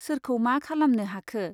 सोरखौ मा खालामनो हाखो ?